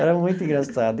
Era muito engraçado.